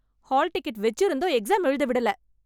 Hall ticket வெச்சிருந்தும் exam எழுத விடல .